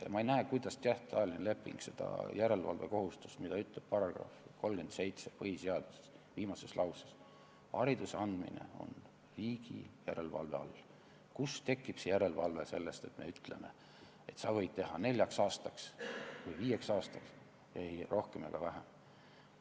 Ma ei näe, kuidas järelevalvekohustus, mis on kirjas põhiseaduse § 37 viimases lauses "Hariduse andmine on riigi järelevalve all", tekib sellest, et me ütleme, et sa võid lepingu teha neljaks või viieks aastaks, ei rohkem ega vähem.